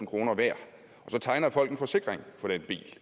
kroner værd så tegner folk en forsikring for den bil det